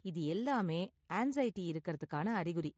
இது எல்லாமே ஆன்ஸைடி இருக்குறதுக்கான அறிகுறி.